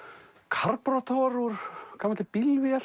karborator úr gamalli